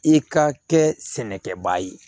I ka kɛ sɛnɛkɛbaa ye